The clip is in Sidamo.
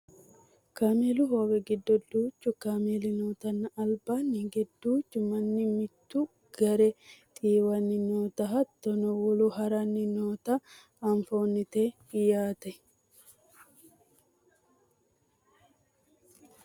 kameelu hoowe giddo duuchu kameeli nootanna albanni hige duuchu manni mitu gaare xiiwanni noota hattono wolu haranni nootanna anfannite yaate